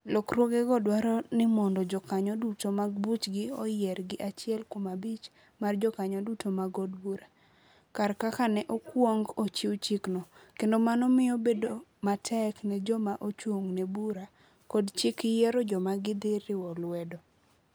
Lokruogego dwaro ni mondo jokanyo duto mag buchgi oyier gi achiel kuom abich mar jokanyo duto mag od bura, kar kaka ne okwong ochiw chikno, kendo mano miyo bedo matek ne joma ochung ' ne Bura kod Chik yiero joma gidhi riwo lwedo.